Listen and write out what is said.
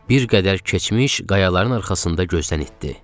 Bir qədər keçmiş qayaların arxasında gözdən itdi.